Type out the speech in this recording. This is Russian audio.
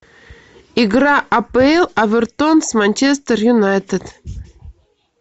игра апл эвертон с манчестер юнайтед